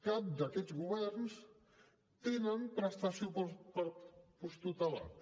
cap d’aquests governs té prestació per als posttutelats